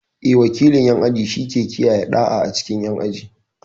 Eh, wakilin ƴan aji shike kiyaye ɗa'a a cikin aji.